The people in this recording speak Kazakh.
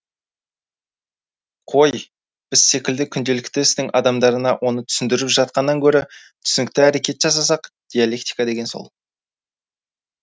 қой біз секілді күнделікті істің адамдарына оны түсіндіріп жатқаннан гөрі түсінікті әрекет жасасақ диалектика деген сол